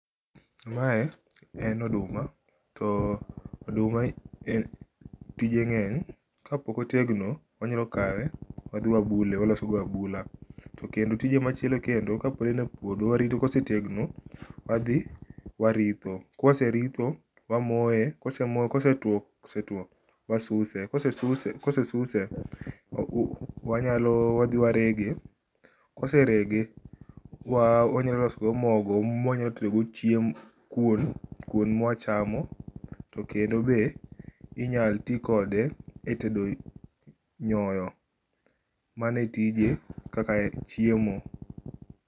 Mae en oduma, to oduma tije ngeny, kapok otegno to wanyalo kawe wadhi wabule, waloso go abula, to kendo tije machielo kendo ka pod e n e puodho ka osetegno to wadhi waritho, ka waseritho wamoye, kose tuo, wasuse, kose suse, kose suse, wanyalo wadhi warege, koserege wanyalo loso go mogo ma waloso go kuon ma wachamo. To kendo be inyal tii kode e tedo nyoyo. Mano e tije kaka chiemo.